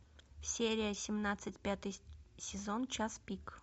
серия семнадцать пятый сезон час пик